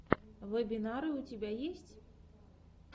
вебинары у тебя есть